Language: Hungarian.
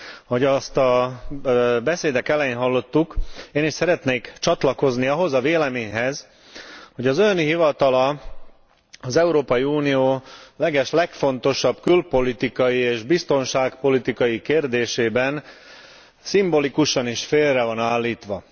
Ahogy azt a beszédek elején hallottuk, én is szeretnék csatlakozni ahhoz a véleményhez, hogy az Ön hivatala az Európai Unió legeslegfontosabb külpolitikai és biztonságpolitikai kérdésében szimbolikusan is félre van állítva.